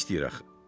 O nə istəyir axı?